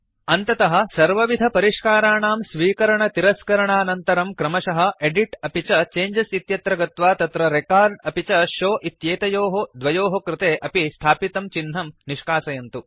अन्ततः सर्वविधपरिष्काराणां स्वीकरण तिरस्करणानन्तरं क्रमशः एदित् अपि च चेंजेस् इत्यत्र गत्वा तत्र रेकॉर्ड अपि च शोव इत्येतयोः द्वयोः कृते अपि स्थापितं चिह्नं निष्कासयन्तु